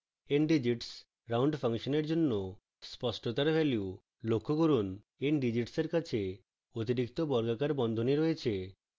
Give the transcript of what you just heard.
ndigits round ফাংশনের জন্য স্পষ্টতার value